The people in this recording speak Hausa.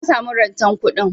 Na samu rantan kuɗin.